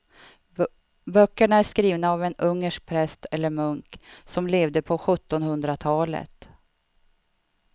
Böckerna är skrivna av en ungersk präst eller munk som levde på sjuttonhundratalet.